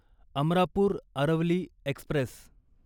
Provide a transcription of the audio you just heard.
Amarapur Aravali Express